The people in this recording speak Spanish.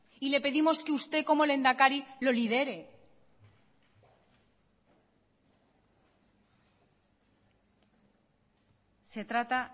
y le pedimos que usted como lehendakari lo lidere se trata